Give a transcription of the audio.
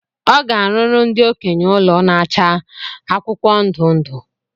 Ọ ga- arụrụ ndi okenye ụlọ na-acha akwụkwọ ndụ ndụ